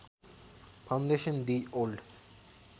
foundation the old